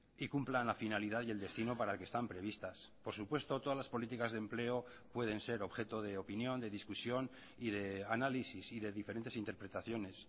y cumplan la finalidad y el destino para el que están previstas por supuesto todas las políticas de empleo pueden ser objeto de opinión de discusión y de análisis y de diferentes interpretaciones